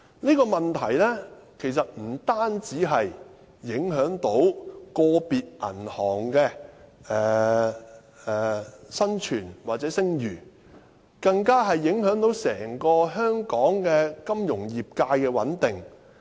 這個問題其實不單影響個別銀行的生存及聲譽，更影響到香港整個金融業界的穩定。